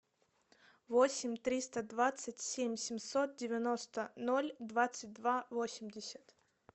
восемь триста двадцать семь семьсот девяносто ноль двадцать два восемьдесят